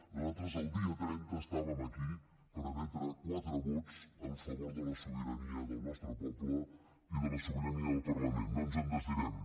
nosaltres el dia trenta estàvem aquí per emetre quatre vots a favor de la sobirania del nostre poble i de la sobirania del parlament no ens en desdirem